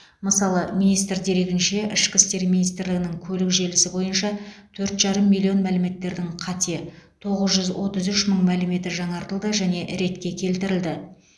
мысалы министр дерегінше ішкі істер министрлігінің көлік желісі бойынша төрт жарым миллион мәліметтердің қате тоғыз жүз отыз үш мың мәліметі жаңартылды және ретке келтірілді